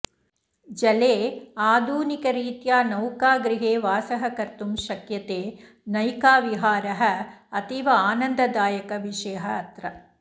जले आधुनिकरीत्या नौकागृहे वासः कर्तुं शक्यते नैकाविहारः अतीव आनन्ददायकः विषयः अत्र